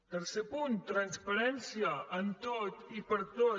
tercer punt transparència en tot i per a tot